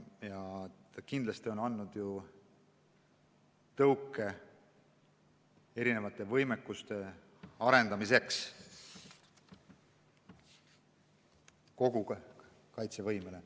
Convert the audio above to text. Ta kindlasti on andnud tõuke mitmesuguste võimekuste arendamiseks kogu kaitsevõimes.